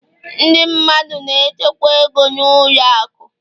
ndị mmadụ na-echekwa ego na ụlọ akụ